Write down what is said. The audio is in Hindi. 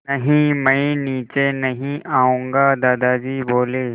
नहीं मैं नीचे नहीं आऊँगा दादाजी बोले